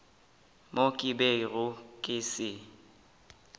mo ke bego ke se